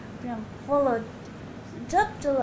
прям қолы жып жылы